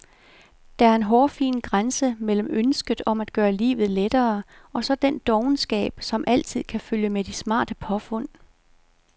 Der er en hårfin grænse mellem ønsket om at gøre livet lettere og så den dovenskab, som altid kan følge med de smarte påfund.